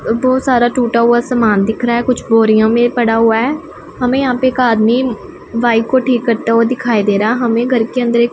बहुत सारा टूटा हुआ सामान दिख रहा है कुछ बोरिया में पढ़ा हुआ है। हमें यहां एक आदमी बाइक को ठीक करता हुए दिखाई दे रहा हमें घर के अंदर एक --